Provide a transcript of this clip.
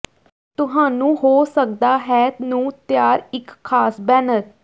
ਤੁਹਾਨੂੰ ਹੋ ਸਕਦਾ ਹੈ ਨੂੰ ਤਿਆਰ ਇੱਕ ਖਾਸ ਬੈਨਰ